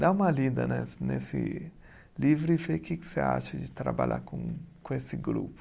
Dá uma lida nesse nesse livro e vê que que você acha de trabalhar com com esse grupo.